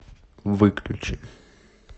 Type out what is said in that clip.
выключи